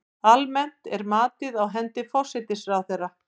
Almennt er matið á hendi forsætisráðherra.